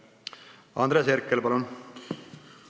Andres Herkel, palun!